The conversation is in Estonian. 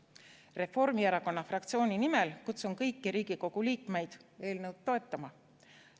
Reformierakonna fraktsiooni nimel kutsun kõiki Riigikogu liikmeid eelnõu toetama.